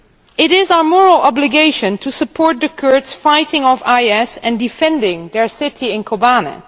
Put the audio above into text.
It is our moral obligation to support the Kurds fighting off IS and defending their city in Kobane.